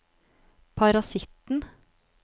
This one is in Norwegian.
parasitten